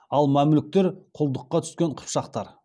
ал мәмлүктер құлдыққа түскен қыпшақтар